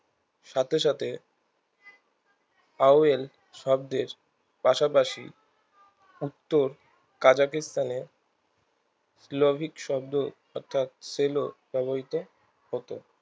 সাথে সাথে পাবেল শব্দের পাশা পাশি উত্তর কাজাগিস্তানের লৌহিক শব্দের অর্থাৎ cello ব্যাবহৃত হতো